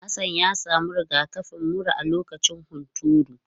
Hassan ya samu rigakafin mura a lokacin hunturu.